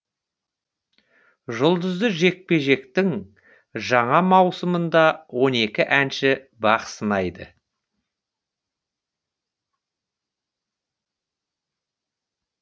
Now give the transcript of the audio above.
жұлдызды жекпе жектің жаңа маусымында он екі әнші бақ сынайды